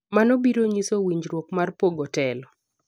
mano biro nyiso winjruok mar pogo telo